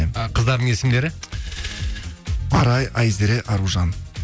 ы қыздардың есімдері арай айзере аружан